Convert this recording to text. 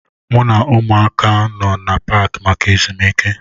M na ụmụaka nọ n'Paakị maka ezumike